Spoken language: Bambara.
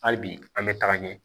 Hali bi an bɛ taga ɲɛ